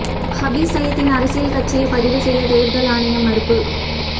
ஹபீஸ் சயீத்தின் அரசியல் கட்சியை பதிவு செய்ய தேர்தல் ஆணையம் மறுப்பு